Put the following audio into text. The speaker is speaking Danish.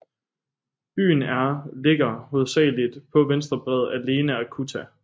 Byen er ligger hovedsageligt på venstre bred af Lena og Kuta